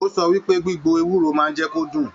O sọ wípé gbigbo ewúro máà n jẹ kó dún.